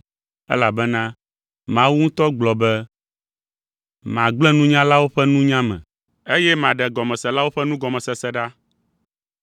elabena Mawu ŋutɔ gblɔ be, “Magblẽ nunyalawo ƒe nunya me; eye maɖe gɔmeselawo ƒe nugɔmesese ɖa.”